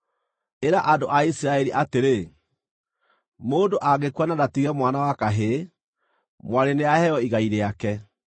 “Ĩra andũ a Isiraeli atĩrĩ, ‘Mũndũ angĩkua na ndatige mwana wa kahĩĩ, mwarĩ nĩaheo igai rĩake.